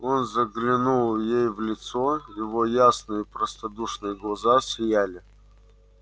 он заглянул ей в лицо его ясные простодушные глаза сияли